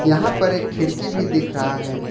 यहां पर एक खिड़की भी दिख रहा है।